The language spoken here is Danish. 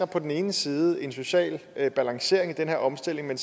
på den ene side sikre en social balancering i den her omstilling men